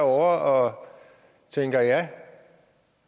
og tænker at